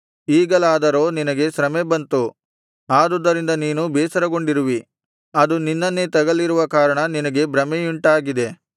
ಈಗಲಾದರೋ ನಿನಗೆ ಶ್ರಮೆ ಬಂತು ಆದುದರಿಂದ ನೀನು ಬೇಸರಗೊಂಡಿರುವಿ ಅದು ನಿನ್ನನ್ನೇ ತಗಲಿರುವ ಕಾರಣ ನಿನಗೆ ಭ್ರಮೆಯುಂಟಾಗಿದೆ